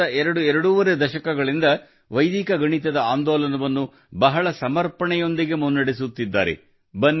ಕಳೆದ ಎರಡುಎರಡೂವರೆ ದಶಕಗಳಿಂದ ವೈದಿಕ ಗಣಿತದ ಆಂದೋಲನವನ್ನು ಬಹಳ ಸಮರ್ಪಣೆಯೊಂದಿಗೆ ಮುನ್ನಡೆಸುತ್ತಿದ್ದಾರೆ